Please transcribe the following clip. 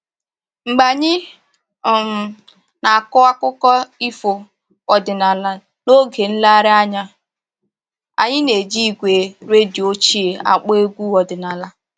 Mgbe anyị um na-akọ akụkọ ifo ọdịnaala n'oge nlereanya a, anyị na-eji igwe redio ochie akpọ egwu ọdịnaala